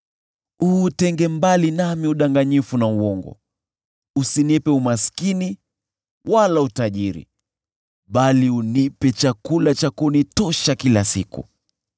Uutenge mbali nami udanganyifu na uongo; usinipe umaskini wala utajiri, bali unipe chakula cha kunitosha kila siku.